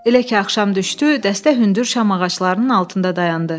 Elə ki axşam düşdü, dəstə hündür şam ağaclarının altında dayandı.